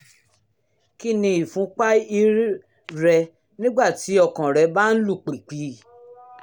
kí ni ìfúnpá ir rẹ nígbà tí ọkàn rẹ́ bá ń lù pìpì?